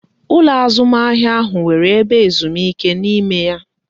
Ụlọ azụmahịa ahụ nwere ebe ezumike n'ime ya